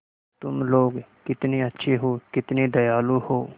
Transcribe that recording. तुम लोग कितने अच्छे हो कितने दयालु हो